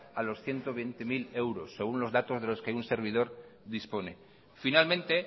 a los ciento veinte mil euros según los datos de los que un servidor dispone finalmente